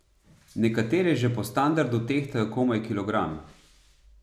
Nekatere že po standardu tehtajo komaj kilogram ...